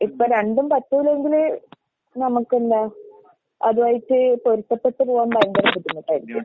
ഇപ്പ രണ്ടും പറ്റൂല്ലെങ്കില് നമക്കെന്താ അതുവായിട്ട് പൊരുത്തപ്പെട്ട് പോവാൻ ഭയങ്കര ബുദ്ധിമുട്ടായിരിക്കും.